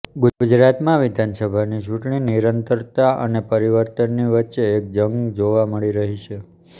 ગુજરાતમાં વિધાનસભાની ચૂંટણી નિરંતરતા અને પરિવર્તનની વચ્ચેની એક જંગ જોવા મળી રહી છે